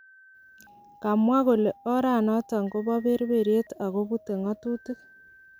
Kamwa kole oranoton kopoperperiet agobute ngatutik.